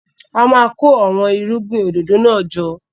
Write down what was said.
A máa kó àwọn irúgbìn òdòdó náà jọ.